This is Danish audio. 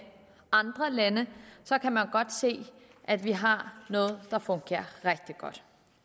andre lande kan man godt se at vi har noget der fungerer rigtig godt